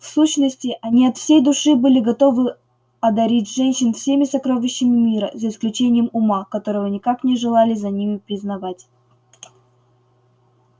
в сущности они от всей души были готовы одарить женщин всеми сокровищами мира за исключением ума которого никак не желали за ними признавать